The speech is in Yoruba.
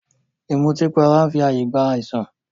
Ìmùtípara n fi ààyè gba àìsàn